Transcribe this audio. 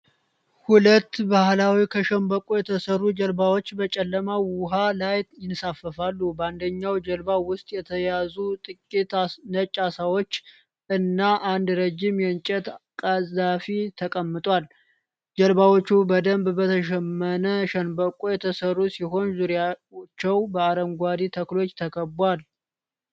ሁለት ባህላዊ ከሸምበቆ የተሠሩ ጀልባዎች በጨለማ ውኃ ላይ ይንሳፈፋሉ። በአንደኛው ጀልባ ውስጥ የተያዙ ጥቂት ነጭ ዓሦች እና አንድ ረዥም የእንጨት ቀዛፊ ተቀምጧል። ጀልባዎቹ በደንብ በተሸመነ ሸንበቆ የተሠሩ ሲሆኑ፣ ዙሪያቸው በአረንጓዴ ተክሎች ተከቧል።